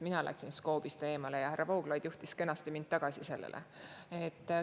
Mina läksin skoobist eemale ja härra Vooglaid juhtis mind kenasti tagasi.